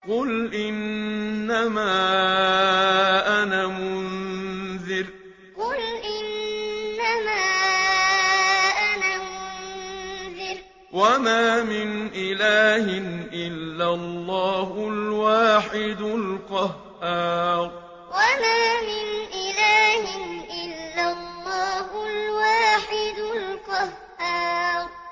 قُلْ إِنَّمَا أَنَا مُنذِرٌ ۖ وَمَا مِنْ إِلَٰهٍ إِلَّا اللَّهُ الْوَاحِدُ الْقَهَّارُ قُلْ إِنَّمَا أَنَا مُنذِرٌ ۖ وَمَا مِنْ إِلَٰهٍ إِلَّا اللَّهُ الْوَاحِدُ الْقَهَّارُ